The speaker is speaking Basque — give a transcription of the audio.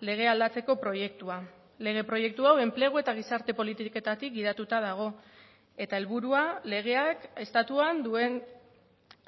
legea aldatzeko proiektua lege proiektu hau enplegu eta gizarte politiketatik gidatuta dago eta helburua legeak estatuan duen